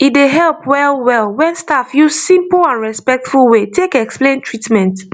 e dey help well well when staff use simple and respectful way take explain treatment